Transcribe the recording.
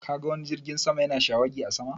Ka ga wani jirgin sama ya na shawagi a sama?